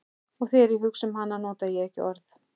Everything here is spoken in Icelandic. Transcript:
Og þegar ég hugsa um hana nota ég ekki orð.